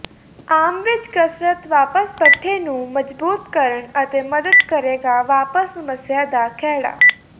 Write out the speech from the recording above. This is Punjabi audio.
ਆਮ ਵਿੱਚ ਕਸਰਤ ਵਾਪਸ ਪੱਠੇ ਨੂੰ ਮਜ਼ਬੂਤ ਕਰਨ ਅਤੇ ਮਦਦ ਕਰੇਗਾ ਵਾਪਸ ਸਮੱਸਿਆ ਦਾ ਖਹਿੜਾ